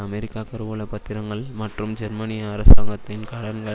America கருவூல பத்திரங்கள் மற்றும் ஜெர்மானிய அரசாங்கத்தின் கடன்கள்